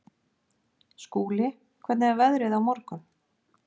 Skúli, hvernig er veðrið á morgun?